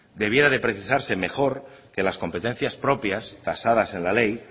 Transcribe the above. debiera de precisarse mejor que las competencias propias tasadas en la ley